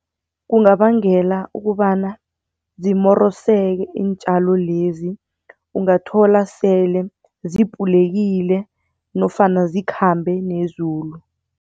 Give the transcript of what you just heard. Kungabangela ukobana zimoroseke iintjalo lezi, ungathola sele zipulekile nofana zikhambe nezulu.